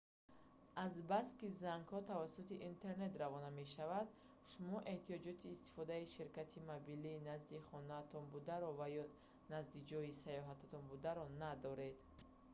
азбаски зангҳо тавассути интернет равона мешаванд шумо эҳтиёҷоти истифодаи ширкати мобилии назди хонаатон бударо ва ё назди ҷойи саёҳататон бударо надоред